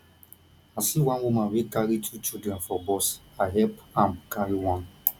i see one woman wey carry two children for bus i help am carry one